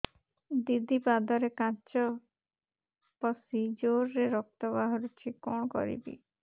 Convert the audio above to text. ଦିଦି ପାଦରେ କାଚ ପଶି ଜୋରରେ ରକ୍ତ ବାହାରୁଛି କଣ କରିଵି